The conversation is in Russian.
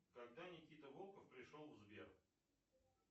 когда никита волков пришел в сбер